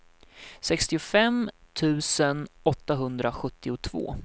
sextiofem tusen åttahundrasjuttiotvå